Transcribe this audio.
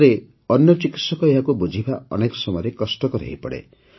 ଫଳରେ ଅନ୍ୟ ଚିକିତ୍ସକ ଏହାକୁ ବୁଝିବା ଅନେକ ସମୟରେ କଷ୍ଟକର ହୋଇପଡ଼େ